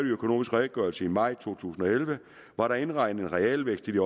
økonomisk redegørelse fra maj to tusind og elleve var der indregnet en realvækst i det